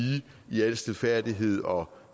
i al stilfærdighed og